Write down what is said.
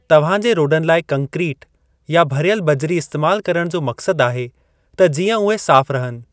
तव्हां जे रोडन लाइ कंक्रीट या भरियल बजरी इस्तेमाल करण जो मक़सदु आहे त जीअं उहे साफ़ु रहनि।